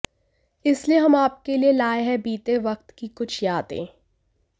इसलिए हम आपके लिए लाए हैं बीते वक्त की कुछ यादें